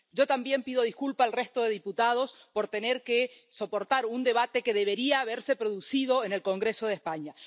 Yo también pido disculpas al resto de diputados por tener que soportar un debate que debería haberse producido en el Congreso de España.